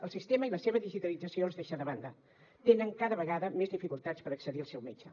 el sistema i la seva digitalització els deixa de banda tenen cada vegada més dificultats per accedir al seu metge